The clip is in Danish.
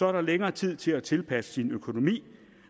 er der længere tid til at tilpasse sin økonomi